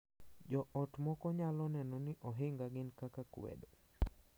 Jo ot moko nyalo neno ni ohinga gin kaka kwedo